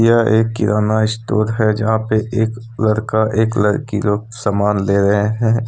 यह एक किराना स्टोर है जहां पे एक लड़का एक लड़की लोग सामान ले रहे हैं।